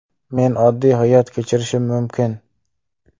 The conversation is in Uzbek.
Men oddiy hayot kechirishim mumkin.